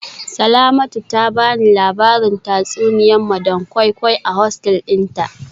Salamatu ta bani labarin tatsuniya madam koi koi a hosteli dinta